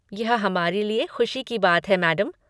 यह हमारे लिए ख़ुशी की बात है, मैडम।